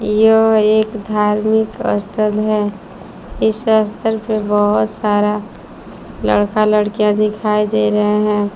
यह एक धार्मिक स्थल है इस स्थल पे बहोत सारा लड़का लड़कियां दिखाई दे रहे हैं।